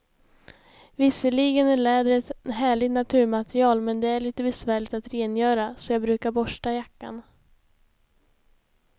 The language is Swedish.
Visserligen är läder ett härligt naturmaterial, men det är lite besvärligt att rengöra, så jag brukar borsta jackan.